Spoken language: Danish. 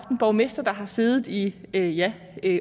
en borgmester der har siddet der i ja